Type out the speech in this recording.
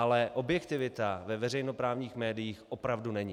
Ale objektivita ve veřejnoprávních médiích opravdu není.